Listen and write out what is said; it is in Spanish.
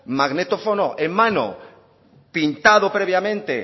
magnetófono en mano pintado previamente